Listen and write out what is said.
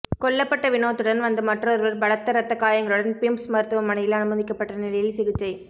கொல்லப்பட்ட வினோத்துடன் வந்த மற்றொருவர் பலத்த ரத்த காயங்களுடன் பிம்ஸ் மருத்துவமனையில் அனுமதிக்கப்பட்ட நிலையில் சிகிச்சை